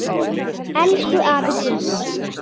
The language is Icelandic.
Elsku afi Gunni.